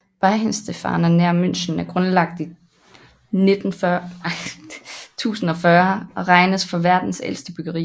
Weihenstephaner nær München er grundlagt i 1040 og regnes for verdens ældste bryggeri